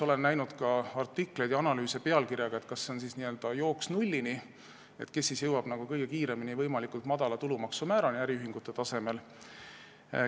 Olen näinud ka artikleid ja analüüse sellise pealkirjaga, et kas see on jooks nullini ja kes siis jõuab kõige kiiremini võimalikult madala tulumaksumäärani äriühingute tasemel.